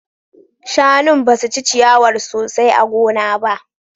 Shanun basu ci ciyawar sosai a gona ba